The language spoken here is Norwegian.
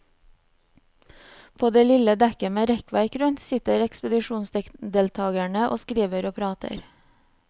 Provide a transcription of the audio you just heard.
På det lille dekket med rekkverk rundt, sitter ekspedisjonsdeltakerne og skriver og prater.